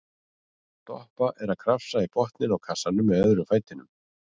Doppa er að krafsa í botninn á kassanum með öðrum fætinum.